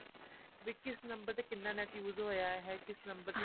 ਵੀ ਕਿਸ ਨੰਬਰ ਤੇ ਕਿੰਨਾ NET use ਹੋਇਆ ਹੈ ਕਿਸ ਨੰਬਰ ਤੇ